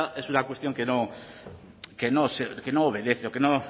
esta es una cuestión que no obedece o que no